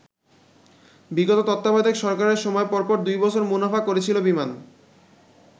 বিগত তত্ত্বাবধায়ক সরকারের সময় পরপর দুই বছর মুনাফা করেছিল বিমান।